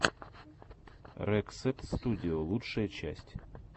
рексет студио лучшая часть